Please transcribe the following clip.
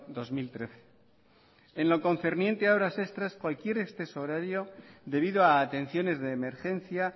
dos mil trece en lo concerniente a horas extras cualquier exceso horario debido a atenciones de emergencia